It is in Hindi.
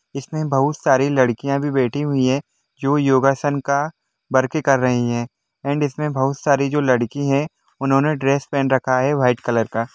इसमें बहुत सारी लड़कियां भी बैठी हुई है जो योगासन का बर्फी कर रही है एण्ड इसमें बहुत सारी जो लड़की है उन्होंने ड्रेस पहन रखा है वाइट कलर का--